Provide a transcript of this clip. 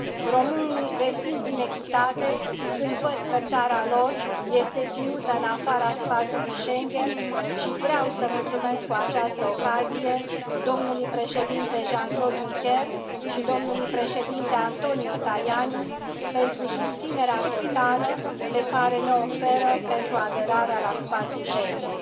Românii resimt inechitate când văd că țara lor este ținută în afara spațiului Schengen și vreau să mulțumesc cu această ocazie domnului președinte Jean Claude Juncker și domnului președinte Antonio Tajani pentru susținerea totală pe care ne o oferă pentru aderarea la spațiul Schengen.